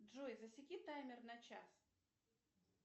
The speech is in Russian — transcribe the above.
джой засеки таймер на час